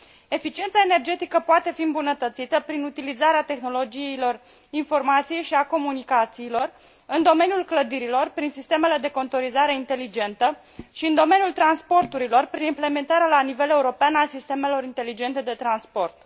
Eficiența energetică poate fi îmbunătățită prin utilizarea tehnologiilor informației și a comunicațiilor în domeniul clădirilor, prin sistemele de contorizare eficientă și în domeniul transporturilor, prin implementarea la nivel european a sistemelor inteligente de transport.